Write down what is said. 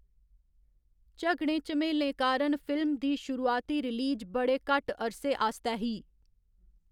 झगड़ें झमेलें कारण फिल्म दी शुरुआती रिलीज बड़े घट्ट अरसे आस्तै ही।